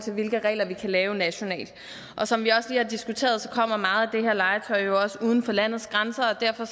hvilke regler vi kan lave nationalt og som vi også lige har diskuteret kommer meget af det her legetøj jo også fra uden for landets grænser derfor